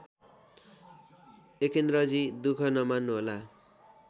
एकेन्द्रजी दुख नमान्नुहोला